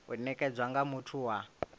u nekedzwa nga muthu wa